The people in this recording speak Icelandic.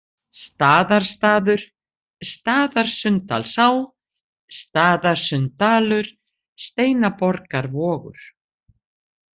Staðarstaður, Staðarsunndalsá, Staðarsunndalur, Steinaborgarvogur